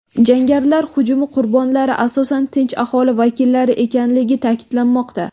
Jangarilar hujumi qurbonlari asosan tinch aholi vakillari ekanligi ta’kidlanmoqda.